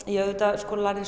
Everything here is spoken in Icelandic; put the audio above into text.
ég auðvitað